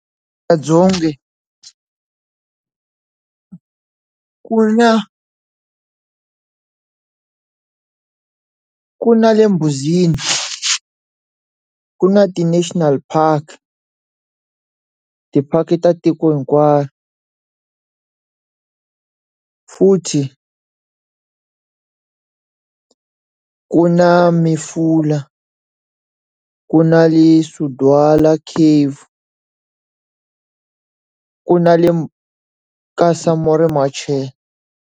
Ku na ku na le ku na ti national park, ti-park ta tiko hinkwaro. futhi ku na ku na le Sudwala Caves ku na le ka Samora Machel.